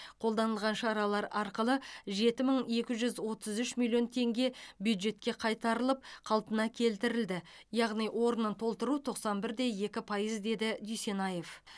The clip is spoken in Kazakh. қолданылған шаралар арқылы жеті мың екі жүз отыз үш миллион теңге бюджетке қайтарылып қалпына келтірілді яғни орнын толтыру тоқсан бір де екі пайыз деді дүйсенаев